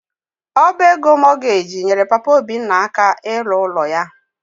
Ọba ego Mortgage nyere Papa Obinna aka ịlụ ụlọ ya.